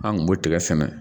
An kun b'o tigɛ sɛnɛ